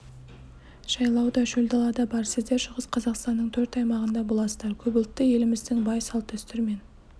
жайлау да шөлдала да бар сіздер шығыс қазақстанның төрт аймағында боласыздар көпұлтты еліміздің бай салт-дәстүрімен